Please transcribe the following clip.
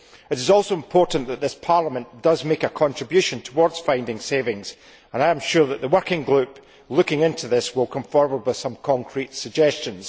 It is also important that this Parliament makes a contribution towards finding savings, and I am sure that the working group looking into this will come forward with some concrete suggestions.